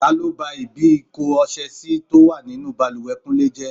Ta ló ba ibi ìko ọṣẹ sì tó wà nínú bàlùwẹ̀ kúnlé jẹ́?